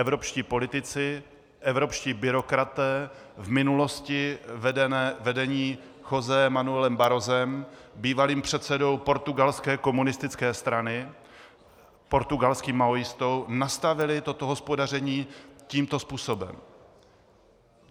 Evropští politici, evropští byrokraté, v minulosti vedení Josém Manuelem Barrosem, bývalým předsedou portugalské komunistické strany, portugalským maoistou, nastavili toto hospodaření tímto způsobem.